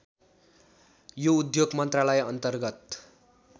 यो उद्योग मन्त्रालयअन्तर्गत